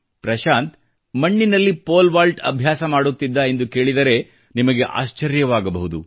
ಪ್ರಶಾಂತ್ ಮಣ್ಣಿನಲ್ಲಿ ಪೋಲ್ವಾಲ್ಟ್ ಅಭ್ಯಾಸ ಮಾಡುತ್ತಿದ್ದ ಎಂದು ಕೇಳಿದರೆ ನಿಮಗೆ ಆಶ್ಚರ್ಯವಾಗಬಹುದು